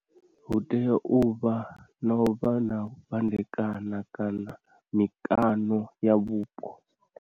Hu tea uvha na u vha na u fhandekana kana mikano ya vhupo.